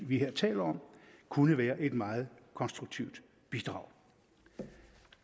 vi her taler om kunne være et meget konstruktivt bidrag